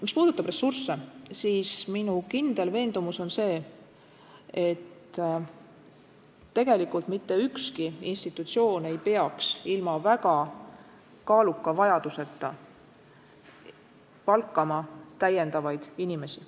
Mis puudutab ressursse, siis minu kindel veendumus on see, et mitte ükski institutsioon ei peaks ilma väga tõsise vajaduseta palkama täiendavaid inimesi.